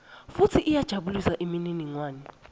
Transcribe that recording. futsi iyajabulisa imininingwane